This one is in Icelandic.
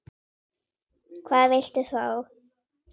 Hvað viltu þá?